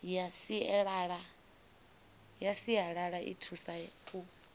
ya sialala i thusa u